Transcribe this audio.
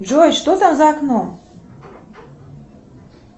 джой что там за окном